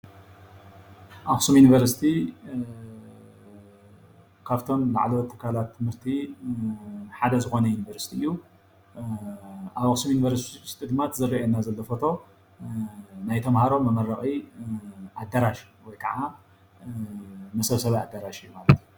ኣኽሱም ዩኒቨርሲቲ ኻፍቶም ላዕሎዎት ትካላት ትምህርቲ ሓደ ዝኾነ ዩኒቨርሲቲ እዩ። እቲ እንሪኦ ዘለና ኸዓ ምስሊ ኸዓ መሰብሰቢ ኣዳራሽ እዩ።